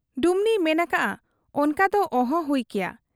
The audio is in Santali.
ᱰᱩᱢᱱᱤᱭᱮ ᱢᱮᱱ ᱟᱠᱟᱜ ᱟ, 'ᱚᱱᱠᱟ ᱫᱚ ᱚᱦᱚ ᱦᱩᱭ ᱠᱮᱭᱟ ᱾